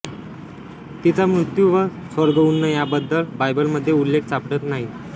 तिचा मृत्यू व स्वर्गउन्नयाबददल बायबलमध्ये उल्लेख सापडत नाही